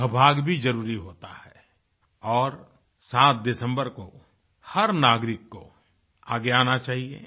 सहभाग भी जरुरी होता है और 07 दिसम्बर को हर नागरिक को आगे आना चाहिए